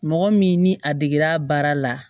Mɔgɔ min ni a degera baara la